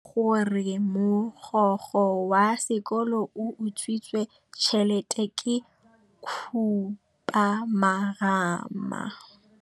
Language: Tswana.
Taba ya gore mogokgo wa sekolo o utswitse tšhelete ke khupamarama.